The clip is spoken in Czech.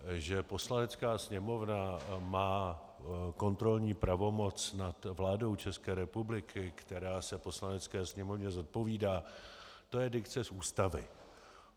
Že Poslanecká sněmovna má kontrolní pravomoc nad vládou České republiky, která se Poslanecké sněmovně zodpovídá, to je dikce z Ústavy.